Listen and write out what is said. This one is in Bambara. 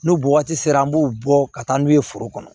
N'u bɔ waati sera an b'u bɔ ka taa n'u ye foro kɔnɔ